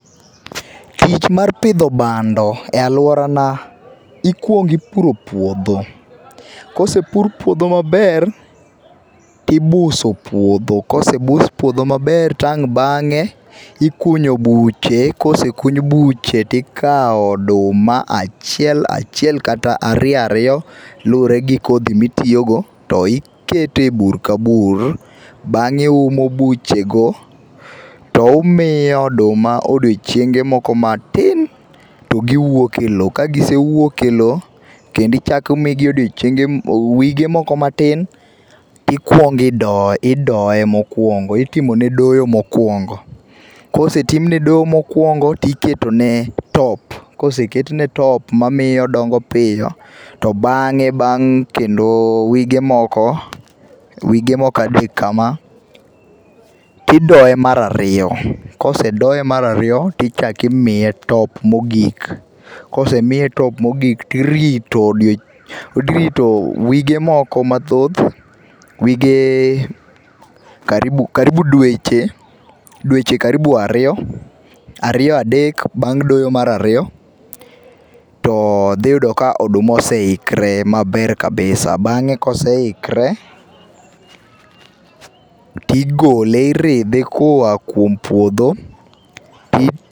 Amich mar pidho bando e aluorana, ikuong ipuro puodho kosepur puodho maber tibuso puodho kosebus puodho maber to ang bange ikunyo buche, kosekuny buche tikao oduma achiel achiel kata ariyo ariyo lure gi kodhi mitiyo go to ikete bur ka bur, bange iumo buchego to umiyo oduma odiochienge moko matin to giwuok e loo, ka gisewuok e loo kendo ichak imigi odiochienge, wige moko matin tikuong idoye, idoye mokuongo itimo ne doyo mokuongo. Kosetim ne doyo mokuongo tiketo ne top, koseket ne top mamiyo odongo piyo to bang wige moko, wige moko adek kama tidoye mar ariyo, kosedoye mar ariyo tichak imiye top mogik, kosemiye top mogik tirito odiochieng, tirito odiochienge, irito wige moko mathoth, wige karibu, karibu dweche, dweche karibu ariyo, ariyo adek bang doyo marariyo to dhi yudo ka oduma oseikre maber kabisa. Bange ka oseikre tigole iridhe koa kuom puodho